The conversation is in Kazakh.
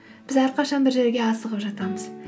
біз әрқашан бір жерге асығып жатамыз